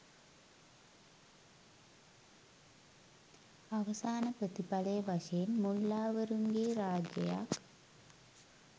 අවසාන ප්‍රතිඵලය වශයෙන් මුල්ලාවරුන්ගේ රාජ්‍යයක්